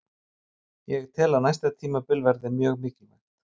Ég tel að næsta tímabil verði mjög mikilvægt.